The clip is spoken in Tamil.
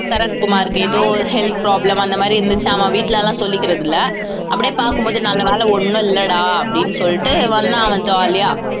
சரத்குமாருக்கு ஏதோ ஒரு health problem அந்த மாதிரி இருந்துச்சு அவன் வீட்டுல எல்லாம் சொல்லிக்கிறது இல்லை அப்படியே பார்க்கும் போது நல்லவேளை ஒண்ணும் இல்லைடா அப்படின்னு சொல்லிட்டு வந்தான் அவன் jolly ஆ